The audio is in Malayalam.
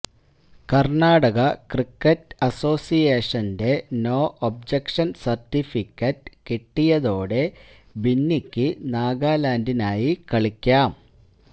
കര്ണാടക ക്രിക്കറ്റ് അസോസിയേഷന്റെ നോ ഒബ്ജക്ഷന് സര്ട്ടിഫിക്കറ്റ് കിട്ടിയതോടെ ബിന്നിക്ക് നാഗാലാന്ഡിനായി കളിക്കാം